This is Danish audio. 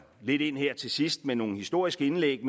lidt ind her til sidst med nogle historiske indlæg